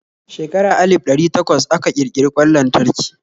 Shekara alif ɗari takwas aka kirkiri kwan lantarki.